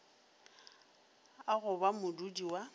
a go ba modudi wa